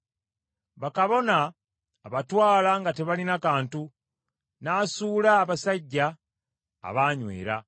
Bakabona abatwala nga tebalina kantu, n’asuula abasajja abaanywera.